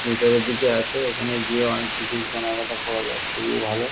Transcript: ভিতরের দিকে আছে ওখানে গিয়ে অনেক কিছু কেনাকাটা করা যায় খুবই ভালো।